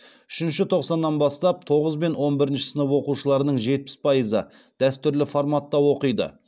үшінші тоқсаннан бастап тоғыз бен он бірінші сынып оқушыларының жетпіс пайызы дәстүрлі форматта оқиды